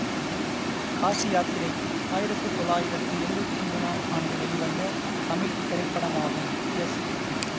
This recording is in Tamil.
காசியாத்திரை ஆயிரத்து தொள்ளாயிரத்து எழுவத்தி மூனாம் ஆண்டு வெளிவந்த தமிழ் திரைப்படமாகும் எஸ்